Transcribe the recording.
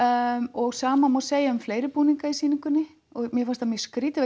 og sama má segja um fleiri búninga í sýningunni mér fannst það mjög skrýtið